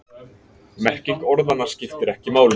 Merking orðanna skiptir ekki máli.